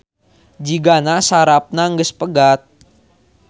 Jigana sarafna geus pegat